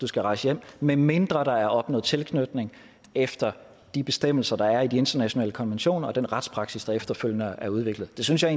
skal rejse hjem medmindre der er opnået tilknytning efter de bestemmelser der er i de internationale konventioner og den retspraksis der efterfølgende er udviklet det synes jeg